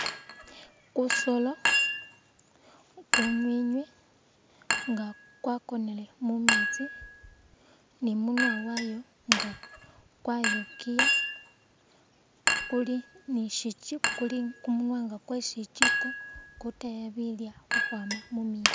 Kusoolo, kunywinywi nga kwakonele mumeetsi ni imunwa waayo nga kwayokiiya kuli ni shi chi kumuwaanga kwashikyiko kutaaya bilyo khukhwaama mumeetsi.